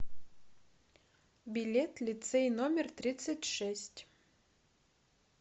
билет лицей номер тридцать шесть